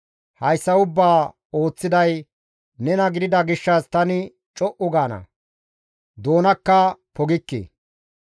Hayssa ubbaa ooththiday nena gidida gishshas tani co7u gaana; doonakka pogikke.